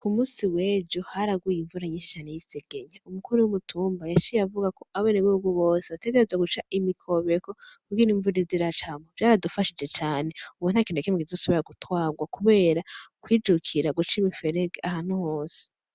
Ku musi weje haragwiye imvura nyinshi cane y'isegenya umukuru w'umutumba yaciye avuga ko abeneweugubose abategereze guca imikobeko kuge n'imvuni zira cambo vyaradufashije cane ubo ntakintu yakimwe kizosobera gutwagwa, kubera kwijukira guca imiferege ahantu hose.